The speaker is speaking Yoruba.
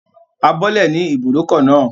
A bọ́lẹ̀ ní ibùdókọ̀ náà